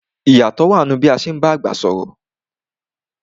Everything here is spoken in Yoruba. I yátọ̀ wa nínú bí a ti ń bá àgbà sọ̀rọ̀